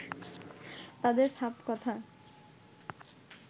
তাদের সাফ কথা